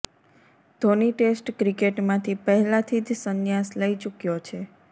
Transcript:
Dhoni test ક્રિકેટમાંથી પહેલાથી જ સંન્યાસ લઈ ચુક્યો છે